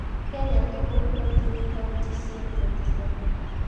Kenya tugul kotinyei kauntisiek 47.